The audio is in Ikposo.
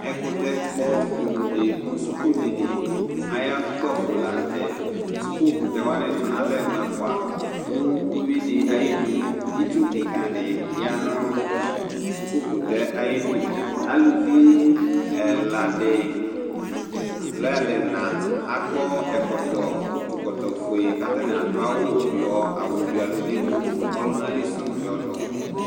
ɛkutɛ kpɔ inu di mu Suku dini ayukpafo la nu tɛ, suku kutɛ wʋani tu nalɛ mʋɛ fʋa, nu uwui di ayi nu itsu kika di ya nu suku kutɛ ayidu, Aluvi ɛla di lo aluɛna akɔ ɛkɔtɔ utu kɔtɔ fue katani adu awu yɔ awu wuialu nemu ɔluna li su yɔdu